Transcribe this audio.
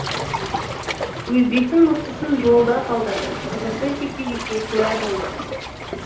өзбектің мықтысын жолда қалдырды қызық жекпе жекке куә болдық